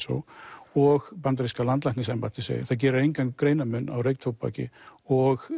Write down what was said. og og bandaríska landlæknisembættið segir það gerir engan greinarmun á reyktóbaki og